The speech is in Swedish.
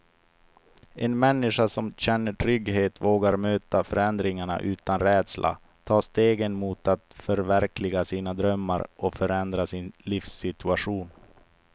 En människa som känner trygghet vågar möta förändringar utan rädsla, ta stegen mot att förverkliga sina drömmar och förändra sin livssituation.